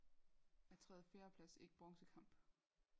Er tredje fjerde plads ikke bronzekamp